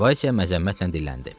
Vayse məzəmmətlə dilləndi.